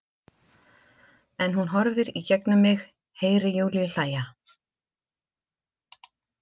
En hún horfir í gegnum mig- Heyri Júlíu hlæja.